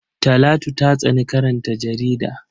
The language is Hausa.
Talatu ta tsani karanta jarida.